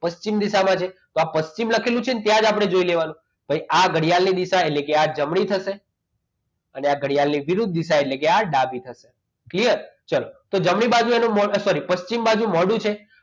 પશ્ચિમ દિશામાં છે તો આ પશ્ચિમ લખેલું છે ત્યાં જ આપણે જોઈ લેવાનું તો આ ઘડિયાળ ની દિશા એટલે જ આ જમણી થશે અને આ ઘડિયાળની વિરુદ્ધ દિશા એટલે કે આ ડાબી થશે clear ચાલો તો જમણી બાજુ એનું અરે sorry પશ્ચિમ બાજુ મોઢું છે